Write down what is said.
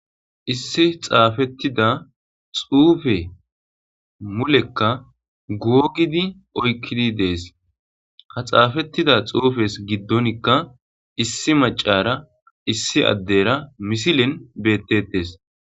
issi xaafettida xuufe mulekka guogidi oykkidi dees ha xaafettida xuufes giddonikka issi macara issi addeyra misilen bettettes